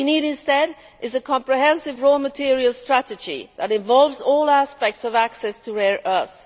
What we need instead is a comprehensive raw materials strategy that involves all aspects of access to rare earths.